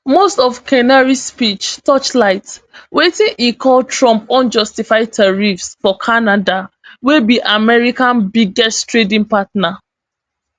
most of carney speech torchlight wetin e call trump unjustified tariffs for canada wey be america biggest trading partner